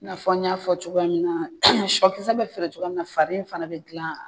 I n'a fɔ n y'a fɔ cogoya min na, sɔ kisɛ bɛ feere cogoya min na fari in fana bɛ dilan